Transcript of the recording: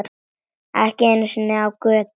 Ekki einu sinni á götu.